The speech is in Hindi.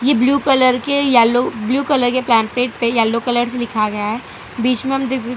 ये ब्लू कलर के येलो ब्लू कलर के पेंपलेट पे येलो कलर से लिखा गया है बीच में हम दे --